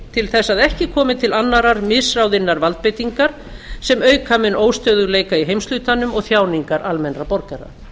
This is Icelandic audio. til þess að ekki komi til annarrar misráðinnar valdbeitingar sem auka mun óstöðugleika í heimshlutanum og þjáningar almennra borgara